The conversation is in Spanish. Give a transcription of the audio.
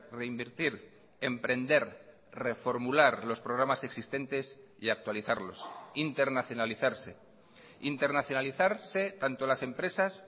reinvertir emprender reformular los programas existentes y actualizarlos internacionalizarse internacionalizarse tanto las empresas